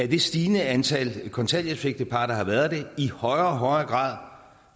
det stigende antal kontanthjælpsægtepar der har været i højere og højere grad